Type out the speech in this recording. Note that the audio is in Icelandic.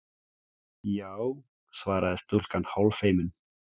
Já- svaraði stúlkan hálffeimin.